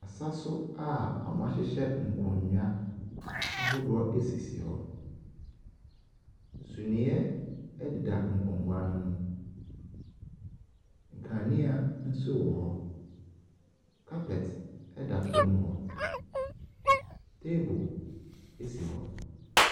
Asaso a wɔahyehyɛ nkonnwa ahodoɔ asisi hɔ, suneɛ ɛdeda nkonnwa ne mu, nkanea nso wɔ hɔ, carpet ɛda fam hɔ. Table asi hɔ.